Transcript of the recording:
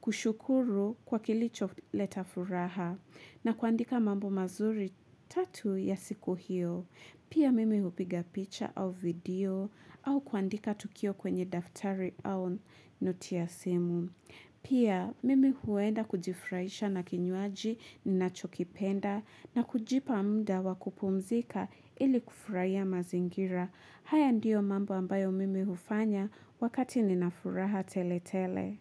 kushukuru kwa kilicho leta furaha na kuandika mambo mazuri tatu ya siku hiyo. Pia mimi hupiga picha au video au kuandika tukio kwenye daftari au noti ya simu. Pia mimi huenda kujifurahisha na kinywaji nachokipenda na kujipa muda wa kupumzika ili kufurahia mazingira. Haya ndiyo mambo ambayo mimi hufanya wakati ninafuraha tele tele.